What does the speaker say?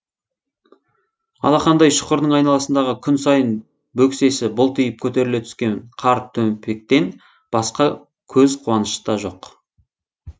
алақандай шұқырдың айналасындағы күн сайын бөксесі бұлтиып көтеріле түскен қар төмпектен басқа көз қуаныш та жоқ